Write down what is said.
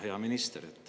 Hea minister!